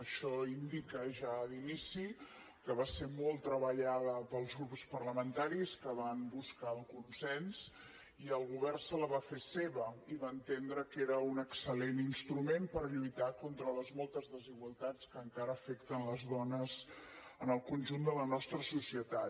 això indica ja d’inici que va ser molt treballada pels grups parlamentaris que van buscar el consens i el govern se la va fer seva i va entendre que era un excel·lent instrument per lluitar contra les moltes desigualtats que encara afecten les dones en el conjunt de la nostra societat